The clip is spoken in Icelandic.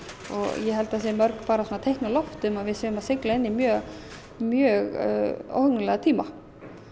ég held að það séu mörg teikn á lofti um að við séum að sigla inn í mjög mjög óhugnanlega tíma